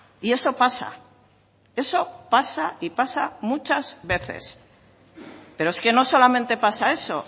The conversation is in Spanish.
y eso pasa eso pasa y pasa muchas veces pero es que no solamente pasa eso